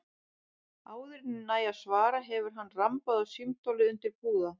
Áður en ég næ að svara hefur hann rambað á símtólið undir púða.